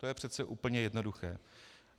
To je přece úplně jednoduché.